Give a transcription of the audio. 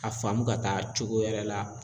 A faamu ka taa cogo wɛrɛ la